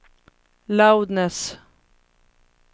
loudness